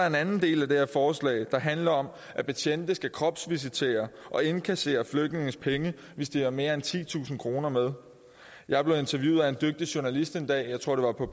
en anden del af det her forslag der handler om at betjente skal kropsvisitere og indkassere flygtninges penge hvis de har mere end titusind kroner med jeg blev interviewet af en dygtig journalist en dag jeg tror det var på